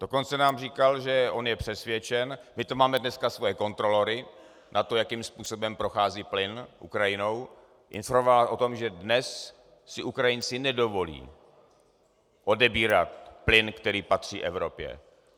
Dokonce nám říkal, že on je přesvědčen - my tu máme dneska svoje kontrolory na to, jakým způsobem prochází plyn Ukrajinou - informoval o tom, že dnes si Ukrajinci nedovolí odebírat plyn, který patří Evropě.